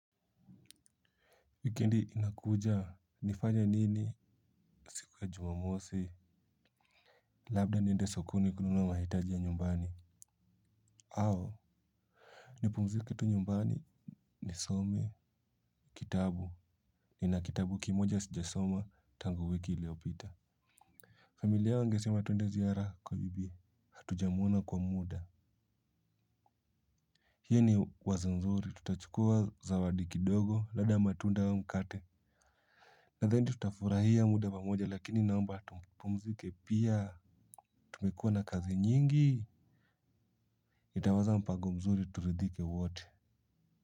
Wikendi inakuja nifanye nini siku ya jumamosi labda niende sokoni kununua mahitaji ya nyumbani au nipumzike tu nyumbani nisome kitabu nina kitabu kimoja sijasoma tangu wiki iliopita familia wangesema twende ziara kwa bibi hatujamuona kwa muda hii ni wazo nzuri tutachukua zawadi kidogo labda matunda au mkate nadhani tutafurahia muda pamoja lakini naomba tupumzike pia tumekua na kazi nyingi nitawaza mpago mzuri turidhike wote.